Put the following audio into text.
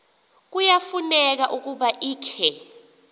kuyafuneka ukuba ikhe